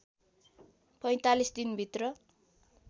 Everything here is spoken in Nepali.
४५ दिन भित्र